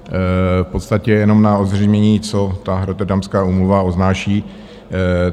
V podstatě jenom na ozřejmení, co ta Rotterdamská úmluva obnáší.